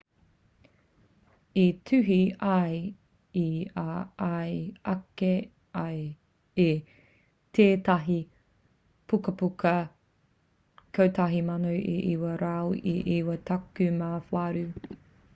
i tuhi ia i a ia ake i tētahi pukapuka 1998